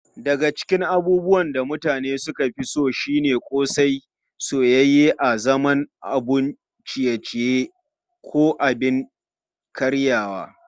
Babu shakka daya daga cikin abubuwan da mutane suka fi so shine ƙosai, soyayye a zaman abun ciye-ciye ko abin karyawa.